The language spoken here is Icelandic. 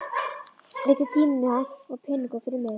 Eyddi tíma og peningum fyrir mig.